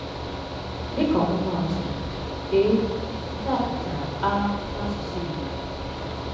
Dịka ọmụma atụ: "a'( nke a pụtara 'á' n'asụsụ Igbo).